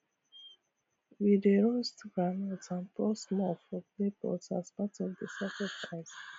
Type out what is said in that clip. we dey roast groundnut and pour small for clay pot as part of the sacrifice